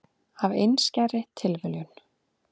Af einskærri tilviljun.